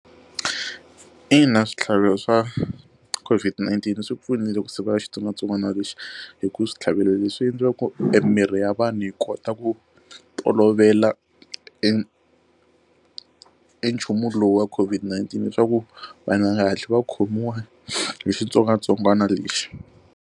Ina, switlhavelo swa COVID-19 swi pfunile ku sivela xitsongwatsongwana lexi hi ku switlhavelo leswi endliwaka ku emirhi ya vanhu yi kota ku tolovela i i nchumu lowu wa COVID-19 leswaku vanhu va nga hatli va khomiwa hi xitsongwatsongwana lexi.